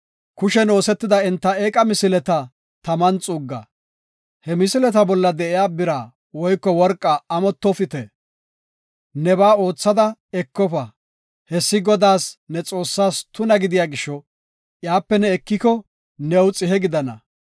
Kushen oosetida enta eeqa misileta taman xuugga. He misileta bolla de7iya bira woyko worqaa amottofite; nebaa oothada ekofa. Hessi Godaas, ne Xoossaas tuna gidiya gisho, iyape ne ekiko new xihe gidana.